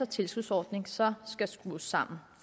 tilskudsordningen så skal skrues sammen